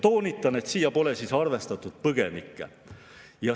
Toonitan, et siin pole arvestatud põgenikke.